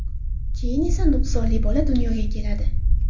Keyin esa, nuqsonli bola dunyoga keladi.